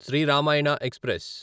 Shri Ramayana express